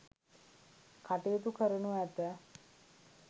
කටයුතු කරනු ඇත.